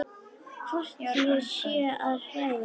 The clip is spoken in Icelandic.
Hvort ég sé að hræða.